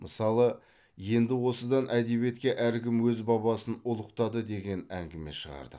мысалы енді осыдан әдебиетте әркім өз бабасын ұлықтады деген әңгіме шығардық